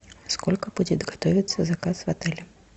сколько будет готовится заказ в отеле